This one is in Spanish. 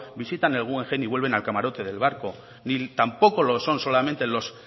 visitan el guggenheim y vuelven al camarote del barco ni tampoco lo son solamente los